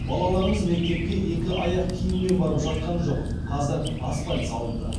балаларымыз мектепке екі аяқ киіммен барып жатқан жоқ қазір асфальт салынды